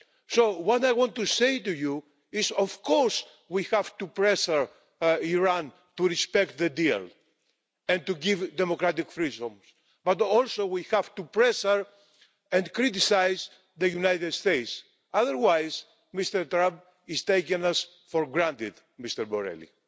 So what I want to say to you is of course we have to pressure Iran to respect the deal and to give democratic freedoms? But also we have to pressure and criticise the United States, otherwise Mr Trump is taking us for granted, Mr Borrell.